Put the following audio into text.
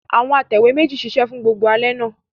Àwọn atẹ̀wé méjì ṣiṣẹ́ fún gbogbo alẹ́ àná.